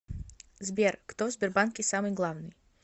сбер кто в сбербанке самый главный